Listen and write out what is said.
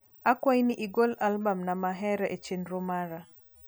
akwai ni igol albam na ma ahero e chenro mara